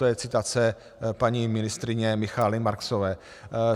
To je citace paní ministryně Michaely Marksové.